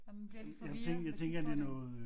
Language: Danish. Man bliver lidt forvirret jeg tror det